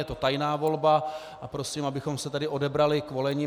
Je to tajná volba a prosím, abychom se tedy odebrali k volení.